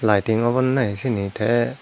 laiting obo ne na he syeni tey.